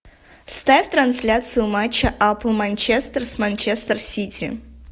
ставь трансляцию матча апл манчестер с манчестер сити